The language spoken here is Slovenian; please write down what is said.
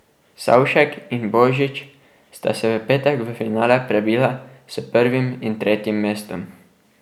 Savšek in Božič sta se v petek v finale prebila s prvim in tretjim mestom.